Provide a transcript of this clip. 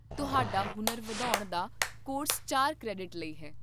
ਤੁਹਾਡਾ ਹੁਨਰ ਵਧਾਉਣ ਦਾ ਕੋਰਸ ਚਾਰ ਕ੍ਰੈਡਿਟ ਲਈ ਹੈ